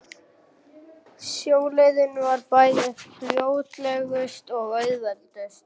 Sjóleiðin var bæði fljótlegust og auðveldust.